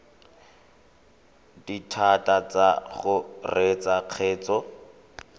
dithata tsa go reetsa kgetse